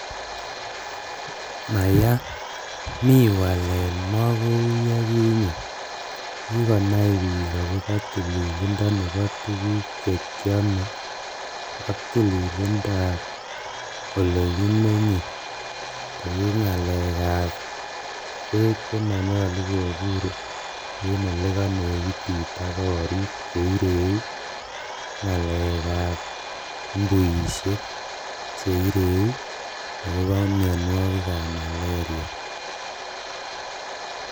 Maya, mi walet makou yekinye, kikonai biik akobo tililindo nebo tuguk chekyame ak tililindo ab ole kimenye kou ng'alekab beek che manyolu kobur en ole kanegitit ak korik che ireu ng'alekab mbuishek che ireu ak kobo mionwokigab maleria.